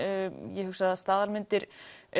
ég hugsa að staðalmyndir